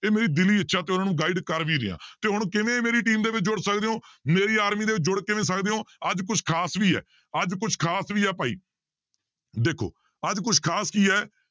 ਇਹ ਮੇਰੀ ਦਿਲੀ ਇੱਛਾ ਤੇ ਉਹਨਾਂ ਨੂੰ guide ਕਰ ਵੀ ਰਿਹਾਂ ਤੇ ਹੁਣ ਕਿਵੇਂ ਮੇਰੀ team ਦੇ ਵਿੱਚ ਜੁੜ ਸਕਦੇ ਹੋ ਮੇਰੀ army ਦੇ ਵਿੱਚ ਜੁੜ ਕਿਵੇਂ ਸਕਦੇ ਹੋ ਅੱਜ ਕੁਛ ਖ਼ਾਸ ਵੀ ਹੈ ਅੱਜ ਕੁਛ ਖ਼ਾਸ ਵੀ ਹੈ ਭਾਈ, ਦੇਖੋ ਅੱਜ ਕੁਛ ਖ਼ਾਸ ਕੀ ਹੈ